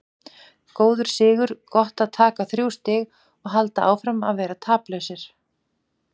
Góður sigur, gott að taka þrjú stig og halda áfram að vera taplausir.